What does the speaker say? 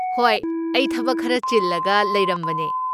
ꯍꯣꯏ! ꯑꯩ ꯊꯕꯛ ꯈꯔ ꯆꯤꯜꯂꯒ ꯂꯩꯔꯝꯕꯅꯦ꯫